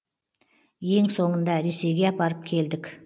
ең соңында ресейге апарып келдік